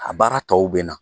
A baara tɔw bɛ na